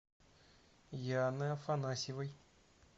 яны афанасьевой